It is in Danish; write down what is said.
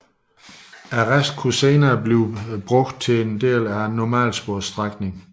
Resten kunne senere benyttes til en del af normalsporsstrækningen